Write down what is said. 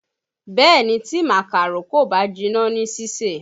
Bẹ̀ẹ́ni, tí màkàró kò bá jiná ní sísè.